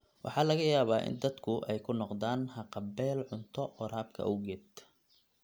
Waxaa laga yaabaa in dadku ay ku noqdaan haqab-beel cunto waraabka awgeed.